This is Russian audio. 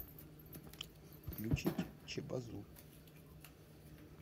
включить чебозу